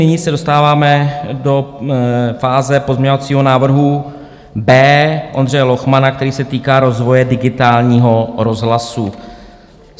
Nyní se dostáváme do fáze pozměňovacího návrhu B Ondřeje Lochmana, který se týká rozvoje digitálního rozhlasu.